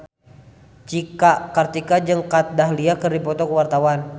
Cika Kartika jeung Kat Dahlia keur dipoto ku wartawan